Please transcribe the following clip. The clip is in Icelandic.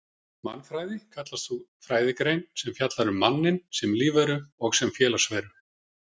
Mannfræði kallast sú fræðigrein sem fjallar um manninn sem lífveru og sem félagsveru.